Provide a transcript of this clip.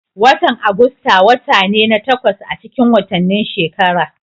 Watan Agusta wata ne na takwas acikin watanni shekara.